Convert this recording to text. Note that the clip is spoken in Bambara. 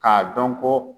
K'a dɔn ko